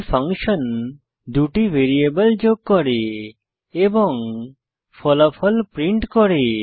এই ফাংশন 2 টি ভ্যারিয়েবল যোগ করে এবং ফলাফল প্রিন্ট করে